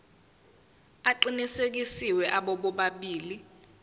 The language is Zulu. aqinisekisiwe abo bobabili